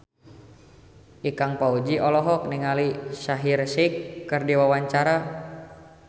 Ikang Fawzi olohok ningali Shaheer Sheikh keur diwawancara